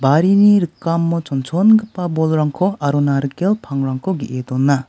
barini rikamo chonchongipa bolrangko aro narikel pangrangko ge·e dona.